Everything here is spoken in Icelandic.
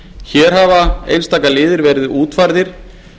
hér hafa einstaka liðir verið útfærðir